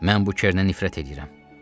Mən bu Kernə nifrət eləyirəm.